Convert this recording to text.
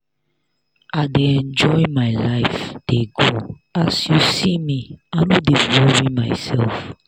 i dey enjoy my life dey go as you see me i no dey worry myself.